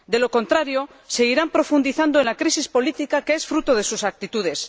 De lo contrario, seguirán profundizando en la crisis política que es fruto de sus actitudes.